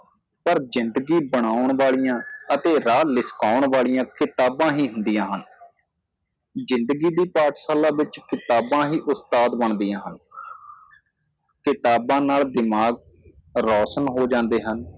ਪਰ ਜ਼ਿੰਦਗੀ ਬਨਾਉਣ ਵਾਲਿਆ ਅਤੇ ਰਾਹ ਲਿਸ਼ਕਾਉਣ ਵਾਲਿਆਂ ਕਿਤਾਬਾਂ ਹੀ ਹੁੰਦੀਆਂ ਹਨ ਜਿੰਦਗੀ ਦੀ ਪਾਠਸ਼ਾਲਾ ਵਿਚ ਕਿਤਾਬਾਂ ਹੀ ਉਸਤਾਦ ਬਣਦੀਆਂ ਹਨ ਕਿਤਾਬਾਂ ਨਾਲ ਦਿਮਾਗ ਰੋਸ਼ਨ ਹੋ ਜਾਂਦੇ ਹਨ